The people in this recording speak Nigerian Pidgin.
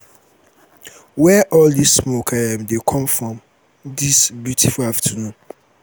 where um um all dis smoke dey um come from dis beautiful afternoon?